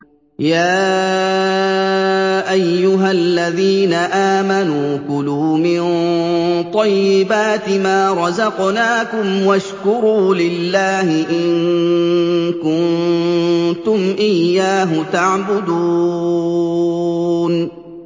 يَا أَيُّهَا الَّذِينَ آمَنُوا كُلُوا مِن طَيِّبَاتِ مَا رَزَقْنَاكُمْ وَاشْكُرُوا لِلَّهِ إِن كُنتُمْ إِيَّاهُ تَعْبُدُونَ